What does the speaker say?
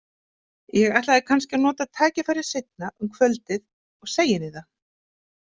Ég ætlaði kannski að nota tækifærið seinna um kvöldið og segja henni það.